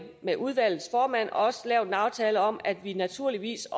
med udvalgets formand også lavet en aftale om at vi naturligvis